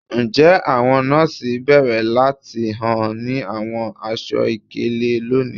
Njẹ àwọn nọọsi béèrè láti hàn ní àwọn aṣọ-ìkélé lónìí?